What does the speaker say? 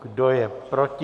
Kdo je proti?